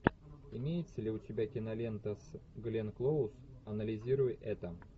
имеется ли у тебя кинолента с гленн клоуз анализируй это